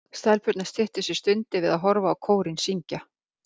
Stelpurnar styttu sér stundir við að horfa á kórinn syngja.